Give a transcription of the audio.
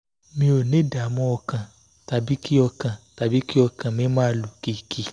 mi ò ní ìdààmú ọkàn tàbí kí ọkàn tàbí kí ọkàn mi máa lù kìkì